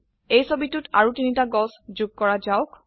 এই ছবিতোত আৰু তিনটা গছ যোগ কৰা যাওক